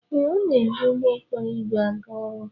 Ee, ọ na-eji ụgbọ okporo ígwè aga ọrụ.